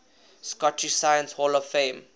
scottish science hall of fame